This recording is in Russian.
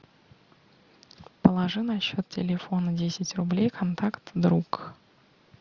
положи на счет телефона десять рублей контакт друг